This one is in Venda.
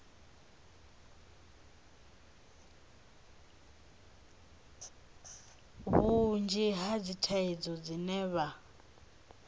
vhunzhi ha dzithaidzo dzine vha